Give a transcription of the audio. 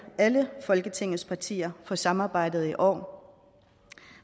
alle folketingets partier for samarbejdet i år